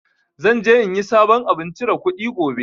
Zan je in yi sabon abun chire kuɗi gobe